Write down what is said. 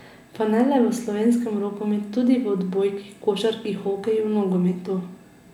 Pa ne le v slovenskem rokometu, tudi v odbojki, košarki, hokeju, nogometu...